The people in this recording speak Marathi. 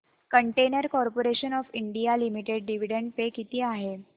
container corporation of India limited dividend pay किती आहे